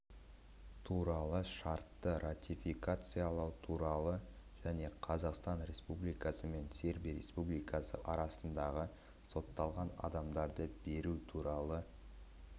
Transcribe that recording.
туралы шартты ратификациялау туралы және қазақстан республикасы мен сербия республикасы арасындағы сотталған адамдарды беру туралы